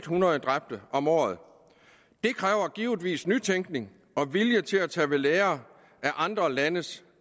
hundrede dræbte om året det kræver givetvis nytænkning og vilje til at tage ved lære af andre landes